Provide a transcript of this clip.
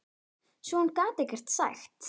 Svo hún gat ekkert sagt.